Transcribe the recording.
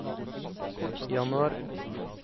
januar